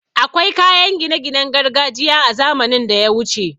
Akwai kayan gine ginen gargajiya a zamanin daya wuce